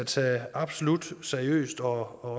tage absolut seriøst og